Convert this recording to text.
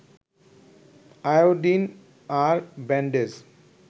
iodine আর bandage